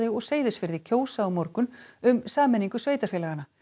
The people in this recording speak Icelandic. og Seyðisfirði kjósa á morgun um sameiningu sveitarfélaganna